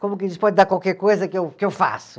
Como que eles podem dar qualquer coisa que eu, que eu faço?